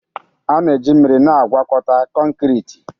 A na-eji mmiri na-agwọkọta konkriti